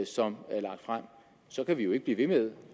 som er lagt frem kan vi jo ikke blive ved med